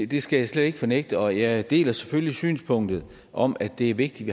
det skal jeg slet ikke fornægte og jeg deler selvfølgelig synspunktet om at det er vigtigt